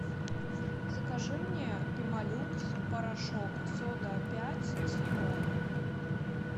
закажи мне пемолюкс порошок сода пять с лимоном